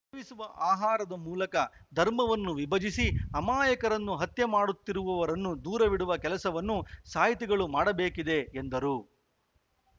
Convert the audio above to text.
ಸೇವಿಸುವ ಆಹಾರದ ಮೂಲಕ ಧರ್ಮವನ್ನು ವಿಭಜಿಸಿ ಅಮಾಯಕರನ್ನು ಹತ್ಯೆ ಮಾಡುತ್ತಿರುವವರನ್ನು ದೂರವಿಡುವ ಕೆಲಸವನ್ನು ಸಾಹಿತಿಗಳು ಮಾಡಬೇಕಿದೆ ಎಂದರು